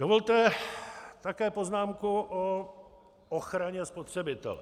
Dovolte také poznámku o ochraně spotřebitele.